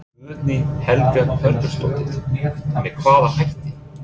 Guðný Helga Herbertsdóttir: Með hvaða hætti?